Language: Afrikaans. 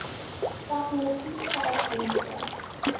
tegnologie stel fondse